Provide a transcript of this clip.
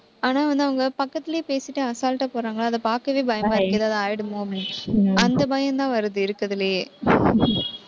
ஆனா வந்து, அவங்க பக்கத்திலேயே பேசிட்டு, அசால்ட்டா போடுறாங்களா. அதை பாக்கவே பயமா இருக்கு. ஏதாவது ஆயிடுமோ அப்படின்னு, அந்த பயம்தான் வருது, இருக்கறதுலேயே